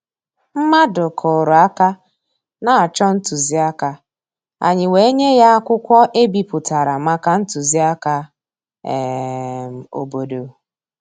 Mmàdụ̀ kụ́rụ̀ áká na-chọ́ ntụzìáká, ànyị́ wèé nyé yá ákwụ́kwọ́ è bípụ̀tàrà màkà ntụzìáká um òbòdò.